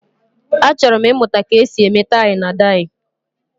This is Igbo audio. achoro m imuta ka esi eme tai na dai